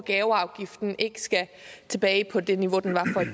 og gaveafgiften ikke skal tilbage på det niveau den var